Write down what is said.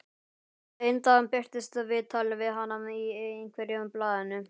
Svo einn dag birtist viðtal við hana í einhverju blaðinu.